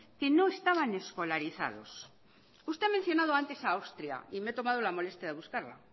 que no estaban escolarizados usted ha mencionado antes a austria y me he tomado la molestia de buscarla